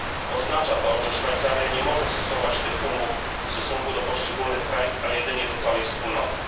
Oznacza to, że Szwajcaria nie może stosować tych umów w stosunku do poszczególnych krajów, a jedynie do całej Wspólnoty.